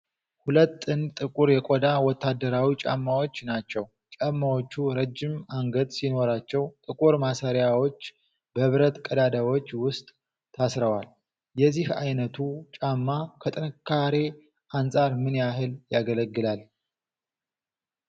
ሁለት ጥንድ ጥቁር የቆዳ ወታደራዊ ጫማዎች ናቸው። ጫማዎቹ ረጅም አንገት ሲኖራቸው፣ ጥቁር ማሰሪያዎች በብረት ቀዳዳዎች ውስጥ ታስረዋል። የዚህ ዓይነቱ ጫማ ከጥንካሬ አንጻር ምን ያህል ያገለግላል?